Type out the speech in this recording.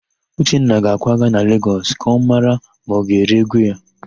Uchenna ga-akwaga na Legọs ka ọ mara ma ọ ga-ere égwú ya.